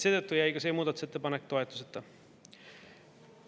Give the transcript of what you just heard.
Seetõttu jäi ka see muudatusettepanek toetuseta.